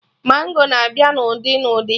Mango na-abịa na ụdị na ụdị